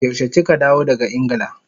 Yaushe kika dawo daga Ingila?